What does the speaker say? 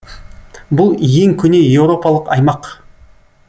бұл ең көне еуропалық аймақ